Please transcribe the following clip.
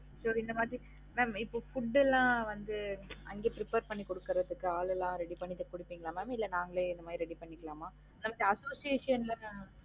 So இந்த மாதிரி mam இப்ப Food ல்லாம் வந்து அங்கயே prepare பண்ணி குடுக்குறதுக்கு ஆள் எல்லாம் ready பண்ணி குடுபிங்கலா mam இல்லன்னா நாங்களே இந்த மாதிரி ready பண்ணிக்கலாமா அது association இன்ல தான்